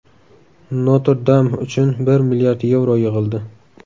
Notr-Dam uchun bir milliard yevro yig‘ildi.